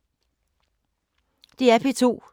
DR P2